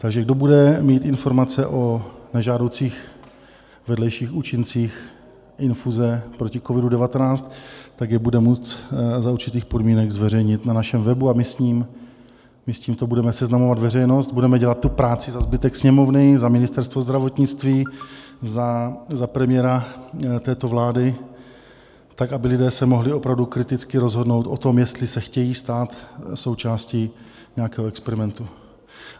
Takže kdo bude mít informace o nežádoucích vedlejších účincích infuze proti COVID-19, tak je bude moci za určitých podmínek zveřejnit na našem webu a my s tímto budeme seznamovat veřejnost, budeme dělat tu práci za zbytek Sněmovny, za Ministerstvo zdravotnictví, za premiéra této vlády tak, aby lidé se mohli opravdu kriticky rozhodnout o tom, jestli se chtějí stát součástí nějakého experimentu.